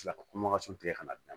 Tila ka tigɛ ka na d'a ma